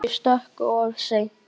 Ég stökk of seint.